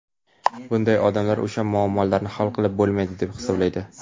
bunday odamlar o‘sha muammolarni hal qilib bo‘lmaydi deb hisoblaydi.